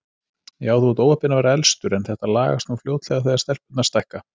Já, þú ert óheppinn að vera elstur, en þetta lagast nú fljótlega þegar stelpurnar stækka